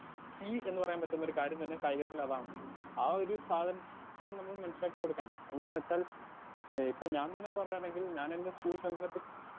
Speaker 2 എന്ന് പറയാൻ പറ്റുന്നൊരു കാര്യം തന്നെ കായികത്തിൽ അതാണ് ആ ഒരു സാധനം നമ്മൾ മനസ്സിലാക്കി കൊടുക്കണം എന്താന്നെച്ചാൽ ഏ ഇപ്പം ഞാൻ തന്നെ പറയാണെങ്കിൽ ഞാനെന്റെ സ്കൂൾ സമയത്ത്.